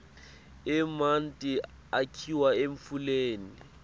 emanti akhiwa emfuleni